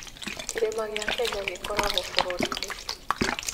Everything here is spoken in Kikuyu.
Kĩrĩma gĩa Kenya gĩkoragwo bũrũri-inĩ ?